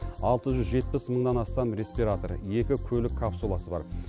алты жүз жетпіс мыңнан астам респиратор екі көлік капсуласы бар